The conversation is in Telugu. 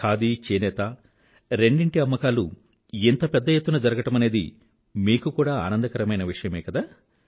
ఖాదీ చేనేత రెండిటి అమ్మకాలూ ఇంత పెద్ద ఎత్తున జరగడమనేది మీకు కూడా ఆనందకరమైన విషయమే కదా